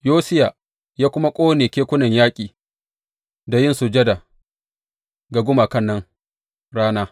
Yosiya ya kuma ƙone kekunan yaƙi a yin sujada ga gumakan nan rana.